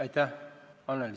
Aitäh, Annely!